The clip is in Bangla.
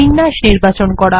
বিন্যাস নির্বাচন করা